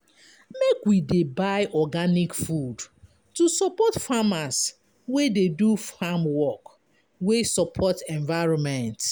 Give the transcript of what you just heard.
Make we dey buy organic food to support farmers wey dey do farmwork wey support environment.